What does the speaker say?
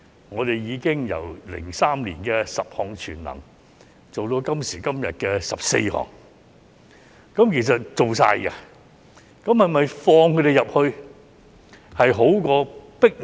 我們已由2003年的"十項全能"，做到今時今日的"十四項全能"，能做的，都已做足了。